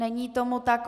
Není tomu tak.